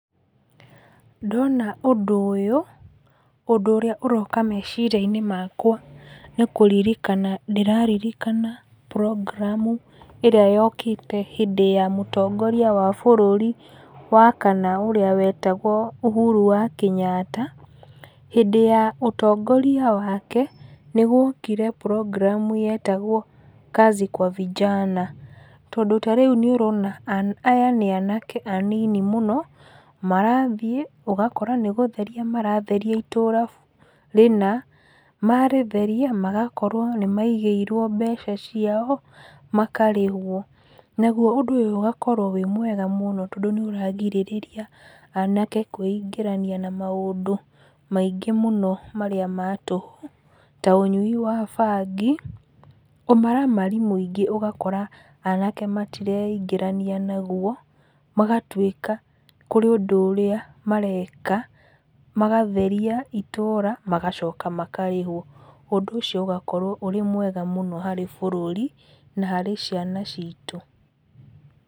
Ndona ũndũ ũyũ, ũndũ ũrĩa ũroka meciria-inĩ makwa nĩ kũririka ndĩraririkana program ĩrĩa yokĩte hĩndĩ ya mũtongoria wa bũrũri wa kana ũria wetagwo Uhuru wa Kenyatta. Hĩndĩ ya ũtongoria wake nĩ guokire program yetagwo kazi kwa vijana tondũ ta rĩu nĩ ũrona aya nĩ anake anini mũno, marathiĩ, ũgakora nĩ gũtheria maratheria itũra rĩna, marĩtheria, magakorwo nĩ maigĩirwo mbeca ciao makarĩhwo. Naguo ũndũ ũyũ ũgakorwo wĩ mwega mũno, tondũ nĩ ũrarigĩrĩria anake kwĩingĩrania na maũndũ maingĩ mũno marĩa ma tũhũ ta ũnyui wa bangĩ, ũmaramari mũingĩ ũgakora anake matireingĩrania naguo, magatuĩka kũrĩ ũndũ ũrĩa mareka, magatheria itũra magacoka makarĩhwo. Ũndũ ũcio ũgakorwo ũrĩ mwega harĩ bũrũri na harĩ ciana citũ.